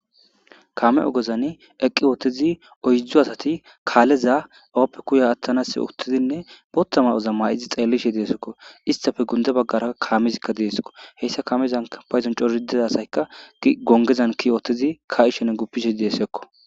Kaame ogezani eqqi7uththizi oyddu asathi kaaleza ooppekko yaa aaththanaassi booththa maa7oza maa7izi xeellishe de7eesikko; isththappe gundda baggara kaameekka deesiko; heysa kaamezankka payzuwan coraththida asykka gonggezan kiyi oththizi kaa7ishinne guppishe de7oosonakko.